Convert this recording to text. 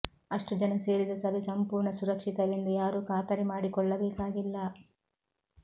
ಅಷ್ಟು ಜನ ಸೇರಿದ ಸಭೆ ಸಂಪೂರ್ಣ ಸುರಕ್ಷಿತವೆಂದು ಯಾರೂ ಖಾತರಿ ಮಾಡಿಕೊಳ್ಳಬೇಕಾಗಿಲ್ಲ